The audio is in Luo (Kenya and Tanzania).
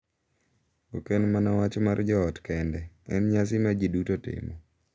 Ok en mana wach mar joot kende; en nyasi ma ji duto timo.